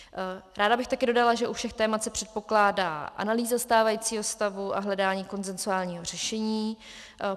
Ráda bych také dodala, že u všech témat se předpokládá analýza stávajícího stavu a hledání konsenzuálního řešení.